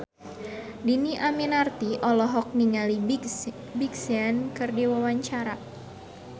Dhini Aminarti olohok ningali Big Sean keur diwawancara